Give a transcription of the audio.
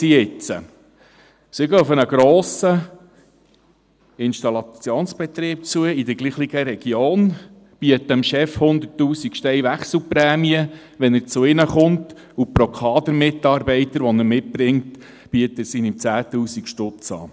– Sie geht auf einen grossen Installationsbetrieb in derselben Region zu, bieten dem Chef 100 000 Stutz Wechselprämie, wenn er zu ihr kommt, und pro Kadermitarbeiter, den er mitbringt, bietet sie ihm 10 000 Stutz an.